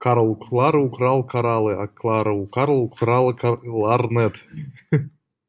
карл у клары украл кораллы а клара у карла украла кал ларнет ахаха